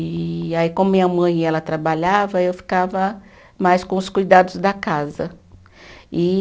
E aí, como minha mãe e ela trabalhava, eu ficava mais com os cuidados da casa. E